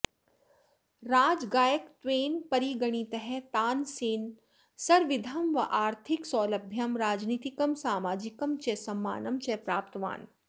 राजगायकत्वेन परिगणितः तानसेनः सर्वविधम् आर्थिकसौलभ्यं राजनितिकं सामाजिकं च सम्मानं च प्राप्तवान्